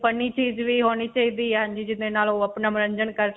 funny ਚੀਜ ਵੀ ਹੋਣੀ ਚਾਹੀਦੀ ਹੈ. ਹਾਂਜੀ ਜਿਵੇਂ ਨਾਲ ਓਹ ਜਿਦੇ ਨਾਲ ਓਹ ਅਪਣਾ ਮਨੋਰੰਜਨ ਕਰ.